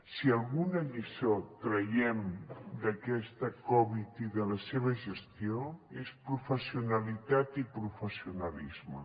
si alguna lliçó en traiem d’aquesta covid i de la seva gestió és professionalitat i professionalisme